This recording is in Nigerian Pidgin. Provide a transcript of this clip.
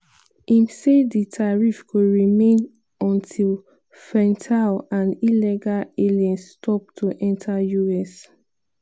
im say di tariff go remain until fentanyl and "illegal aliens" stop to enta us.